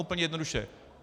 Úplně jednoduše.